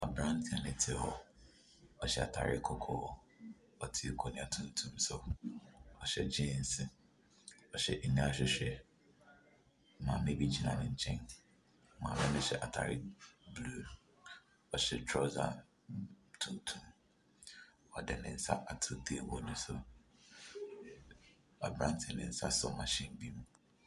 Aane no te hɔ. Ɔhyɛ atare kɔkɔɔ. Ɔte akonwa tuntum so. Ɔhyɛ gyins. Maame bi gyina ne nkyɛn. Maame no hyɛ ataare blu. Ɔhyɛ trawsa tuntum. Ɔde ne nsa ato teebol no so. Abranteɛ ne nsa sɔ mahyin bi mu.